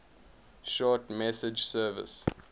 short message service